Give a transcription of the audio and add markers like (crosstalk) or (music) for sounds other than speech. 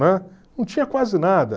(unintelligible) Não tinha quase nada.